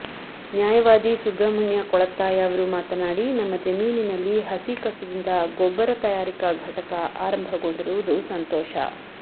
ನ್ಯಾಯವಾದಿ ಸುಬ್ರಹ್ಮಣ್ಯ ಕೊಳತ್ತಾಯ ಅವರು ಮಾತನಾಡಿ ನಮ್ಮ ಜಮೀನಿನಲ್ಲಿ ಹಸಿ ಕಸದಿಂದ ಗೊಬ್ಬರ ತಯಾರಿಕಾ ಘಟಕ ಆರಂಭಗೊಂಡಿರುವುದು ಸಂತೋಷ